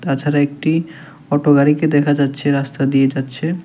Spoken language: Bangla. তাছাড়া একটি অটো গাড়িকে দেখা যাচ্ছে রাস্তা দিয়ে যাচ্ছে।